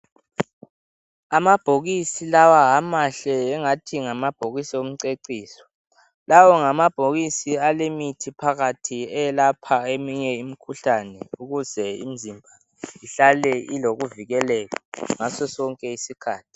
Amabhokisi lawa amahle ingathi ngamabhokisi omceciso lawo ngamabhokisi alemithi phakathi eyelaphayo eminye imikhuhlane ukuze imizimba ihlale ilokuvikeleka ngasosonke isikhathi.